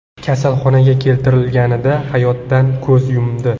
kasalxonaga keltirilganida hayotdan ko‘z yumdi.